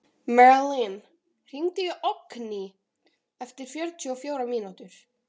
Merlin, hringdu í Oddgný eftir fjörutíu og fjórar mínútur.